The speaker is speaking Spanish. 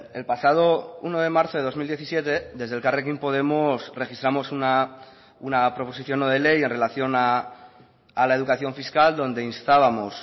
el pasado uno de marzo de dos mil diecisiete desde elkarrekin podemos registramos una proposición no de ley en relación a la educación fiscal donde instábamos